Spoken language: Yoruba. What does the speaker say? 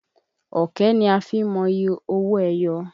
Ọ̀kẹ́ ni a fi ń mọye owo ẹyọ.